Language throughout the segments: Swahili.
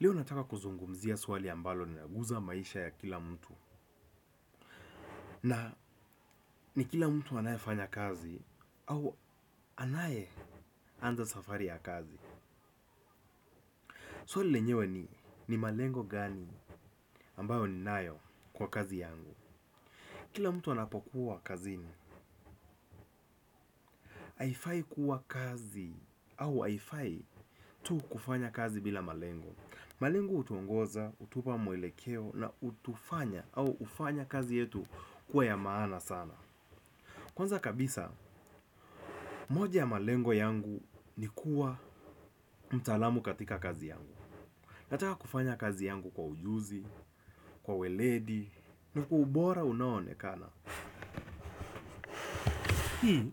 Leo nataka kuzungumzia swali ambalo linaguza maisha ya kila mtu na ni kila mtu anayefanya kazi au anayeanza safari ya kazi. Swali lenyew ni ni malengo gani ambayo ninayo kwa kazi yangu. Kila mtu anapokuwa kazini, haifai kuwa kazi au haifai tu kufanya kazi bila malengo. Malengo hutuongoza, hutupa mwelekeo na hutufanya au hufanya kazi yetu kuwa ya maana sana. Kwanza kabisa, moja ya malengo yangu ni kuwa mtaalamu katika kazi yangu. Nataka kufanya kazi yangu kwa ujuzi, kwa weledi, na kwa ubora unaoonekana. Hii,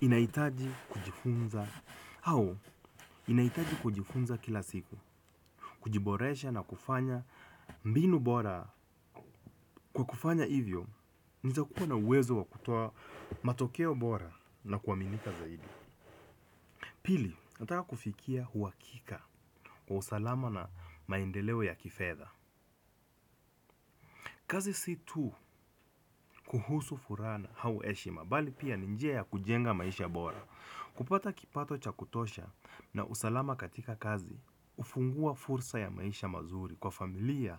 inahitaji kujifunza, au, inahitaji kujifunza kila siku. Kujiboresha na kufanya mbinu bora. Kwa kufanya hivyo, nawezakuwa na uwezo wa kutoa matokeo bora na kuaminika zaidi. Pili, nataka kufikia huakika kwa usalama na maendeleo ya kifedha. Kazi si tu kuhusu furaha au heshima bali pia ni njia ya kujenga maisha bora. Kupata kipato cha kutosha na usalama katika kazi, hufungua fursa ya maisha mazuri kwa familia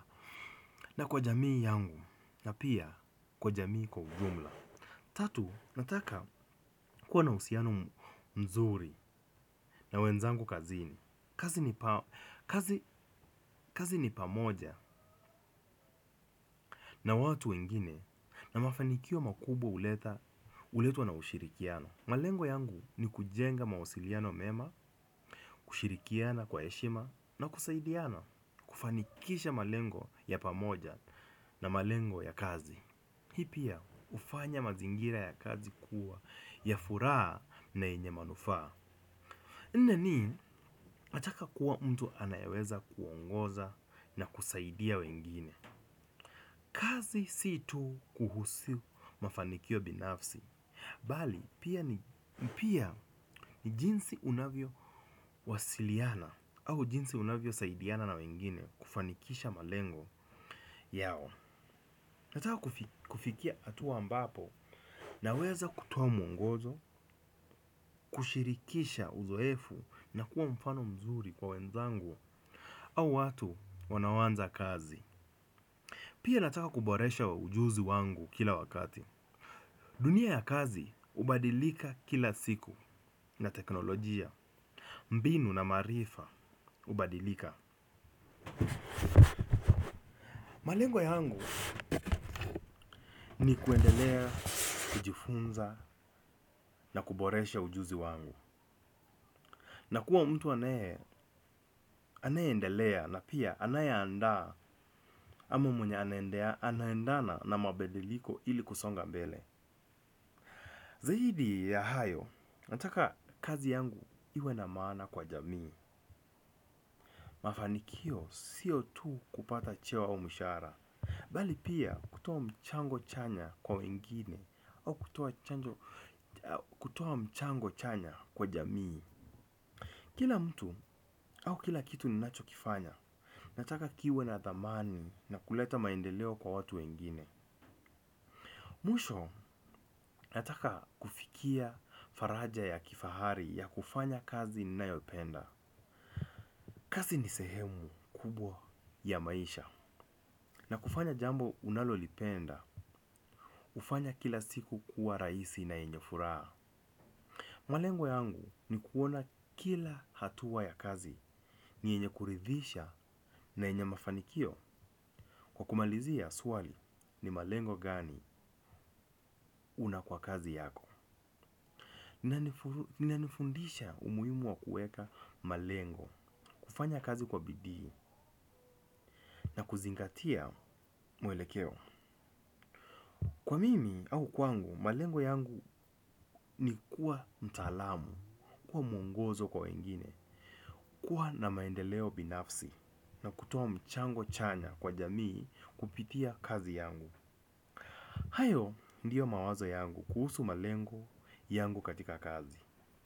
na kwa jamii yangu na pia kwa jamii kwa ujumla. Tatu, nataka kuwa na uhusiano mzuri na wenzangu kazini. Kazi ni pamoja na watu wengine na mafanikio makubwa huletwa na ushirikiano. Malengo yangu ni kujenga mawasiliano mema kushirikiana kwa heshima na kusaidiana kufanikisha malengo ya pamoja na malengo kwenye kazi. Hii pia hufanya mazingira ya kazi kuwa ya furaha na yenye manufaa. Nne ni nataka kuwa mtu anayeweza kuongoza na kusaidia wengine. Kazi si tu kuhusu mafanikio binafsi bali, pia ni jinsi unavyowasiliana au jinsi unavyosaidiana na wengine kufanikisha malengo yao, nataka kufikia hatuwa ambapo naweza kutuoa mwongozo, kushirikisha uzoefu na kuwa mfano mzuri kwa wenzangu au watu wanaoanza kazi. Pia nataka kuboresha ujuzi wangu kila wakati. Dunia ya kazi hubadilika kila siku na teknolojia mbinu na marifa ubadilika. Malengo yangu ni kuendelea, kujifunza na kuboresha ujuzi wangu na kuwa mtu anayeendelea na pia anayeandaa ama mwenye anaendana na mabadiliko ili kusonga mbele. Zaidi ya hayo nataka kazi yangu iwe na maana kwa jamii. Mafanikio siyo tu kupata chea au mishahara bali pia kutoa mchango chanya kwa wengine au kutoa mchango chanya kwa jamii. Kila mtu au kila kitu ni nachokifanya. Nataka kiwe na thamani na kuleta maendeleo kwa watu wengine. Mwisho nataka kufikia faraja ya kifahari ya kufanya kazi ninayopenda. Kazi ni sehemu kubwa ya maisha na kufanya jambo unalolipenda hufanya kila siku kuwa rahisi na yenye furaha. Malengo yangu ni kuona kila hatua ya kazi yenye kuridhisha na yenye mafanikio. Kwa kumalizia swali ni malengo gani na kwa kazi yako inanifundisha umuhimu wa kuweka malengo. Kufanya kazi kwa bidii na kuzingatia mwelekeo kwa mimi au kwangu, malengo yangu ni kuwa mtaalamu. Kuwa mwngozo kwa wengine. Kuwa na maendeleo binafsi na kutoa mchango chanya kwa jamii kupitia kazi yangu. Hayo ndio mawazo yangu kuhusu malengo yangu katika kazi.